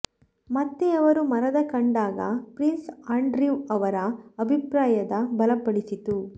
ಮತ್ತೆ ಅವರು ಮರದ ಕಂಡಾಗ ಪ್ರಿನ್ಸ್ ಆಂಡ್ರಿವ್ ಅವರ ಅಭಿಪ್ರಾಯದ ಬಲಪಡಿಸಿತು